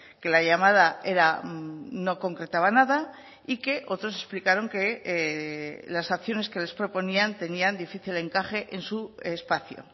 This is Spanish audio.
que la llamada era no concretaba nada y que otros explicaron que las acciones que les proponían tenían difícil encaje en su espacio